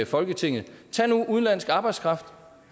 folketinget tag nu udenlandsk arbejdskraft